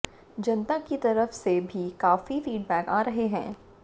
जनता की तरफ से भी काफी फीडबैक आ रहे हैं